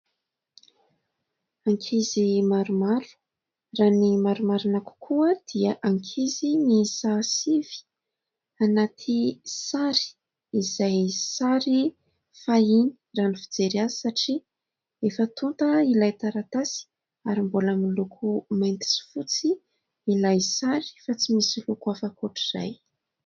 Ankizy maromaro, raha ny marimarina kokoa dia ankizy miisa sivy anatina sary izay sary fahiny raha ny fijery azy, satria efa tonta ilay taratasy ary mbola miloko mainty sy fotsy ilay sary fa tsy misy loko hafa ankoatr'izay.